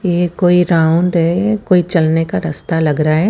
ये कोई राउंड है कोई चलने का रास्ता लग रहा है।